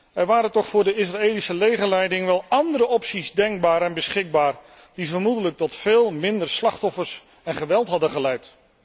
Er waren toch voor de Israëlische legerleiding wel andere opties denkbaar en beschikbaar, die vermoedelijk tot veel minder slachtoffers en geweld hadden geleid.